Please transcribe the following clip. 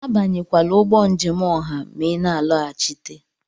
Abanyekwala ụgbọ njem ọha ma ị na-alọghachite!